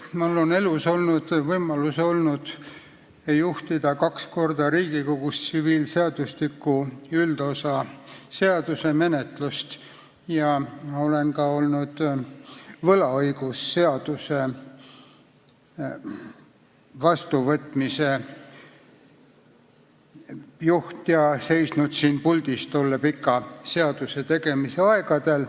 Mul on elus olnud võimalus juhtida kaks korda Riigikogus tsiviilseadustiku üldosa seaduse eelnõu menetlust ja olen ka olnud võlaõigusseaduse vastuvõtmise juht ja seisnud siin puldis tolle pika seaduse tegemise aegadel.